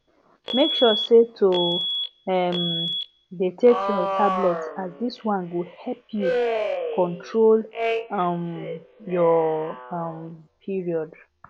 make sure to um dey take your tablet as this one go help you control um your um period